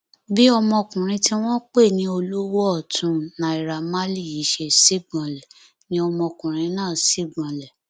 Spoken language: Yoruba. bí ọmọkùnrin tí wọn pè ní olówó ọtún naira marley yìí ṣe sígbọnlé ni ọmọkùnrin náà sígbọnlé